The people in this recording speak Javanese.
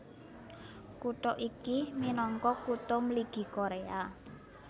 Kutha iki minangka Kutha Mligi Koréa